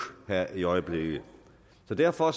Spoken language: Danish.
her i øjeblikket så derfor